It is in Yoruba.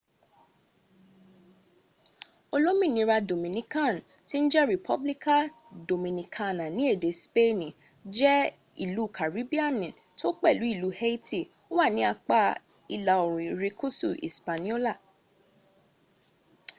olominira dominikan ede speeni: republica dominicana jẹ́ ilú karibiani tó pẹ̀lú ìlú haiti wà ní apá ìlà orùn irekusu ispaniola